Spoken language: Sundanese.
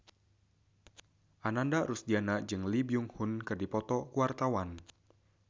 Ananda Rusdiana jeung Lee Byung Hun keur dipoto ku wartawan